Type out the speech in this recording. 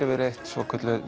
yfirleitt svokölluð